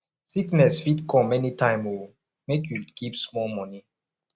sickness fit come anytime o make you keep small moni